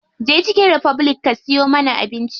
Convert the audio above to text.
Je chicken republic ka siyo mana abinci.